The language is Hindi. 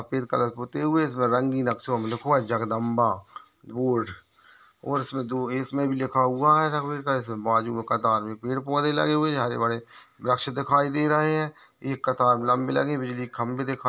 सफेद कलर पोते हुए इसमें बड़े रंगीन अक्षरों में लिखो है जगदंबा बोर्ड और इसमे दो इसमें भी लिखा हुआ है इसमे बाजू में कतार में पेड़ पौधे लगे हुए है हरे भरे वृक्ष दिखाई दे रहे हैं एक कतार लंबी लगी है बिजली के खंबे दिखाई--